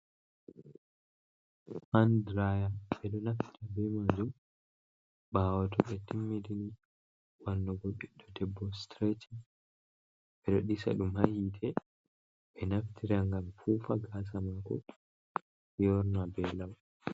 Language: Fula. Handraya be do naftira be manju bawo to be timmini wannugo biddo debbo streching be do disa dum ha hite be naftira gam fufa gasa mako yorna be lau.